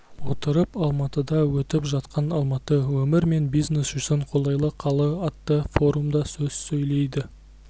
отырып алматыда өтіп жатқан алматы өмір мен бизнес үшін қолайлы қала атты форумда сөз сөйлейді